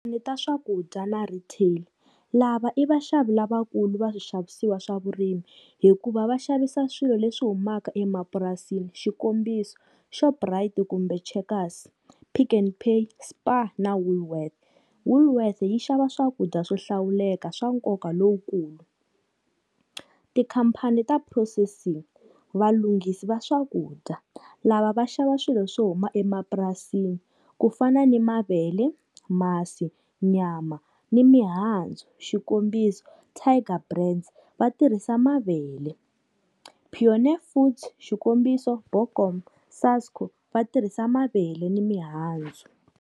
Ni ta swakudya na retail, lava i vaxavi lavakulu va swixavisiwa swa vurimi hikuva va xavisa swilo leswi humaka emapurasini, xikombiso Shoprite kumbe Checkers, Pick n Pay, SPAR na Woolworths. Woolworths yi xava swakudya swo hlawuleka swa nkoka lowukulu, ti-company ta processing, valunghisi va swakudya, lava va xava swilo swo huma emapurasini ku fana ni mavele, masi, nyama, ni mihandzu, xikombiso Tiger Brands, vatirhisa mavele, Pioneer Foods, xikombiso BOKOMO, SASKO vatirhisa mavele ni mihandzu.